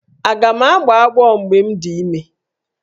Aga m agbọ ọgbọ mgbe m dị ime?